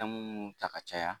mun ta ka caya